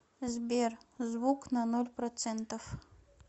сбер звук на ноль процентов